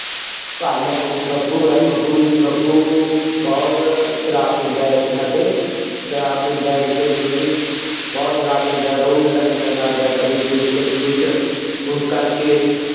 ਉਹ ਬੱਬੂ ਹੈ ਬੱਬੂ ਜੀ ਬੱਬੂ ਬਹੁਤ ਸਰਾਬ ਪੀਂਦਾ ਹੈ ਇੱਥੇ ਸਾਡੇ, ਸਰਾਬ ਪੀਂਦਾ ਹੈ ਇੱਕ ਦਿਨ ਉਹਦੀ ਬਹੁਤ ਸਰਾਬ ਪੀਂਦਾ ਹੈ ਰੋਜ਼ ਲੜਾਈਆਂ ਕਰਦਾ ਹੈ ਕਦੇ ਕੁਛ ਕਦੇ ਕੁਛ, ਉਸ ਕਰਕੇ